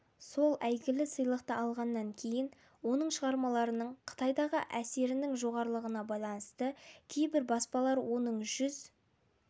сол әйгілі сыйлықты алғаннан кейін оның шығармаларының қытайдағы әсерінің жоғарылығына байланысты кейбір баспалар оның жүз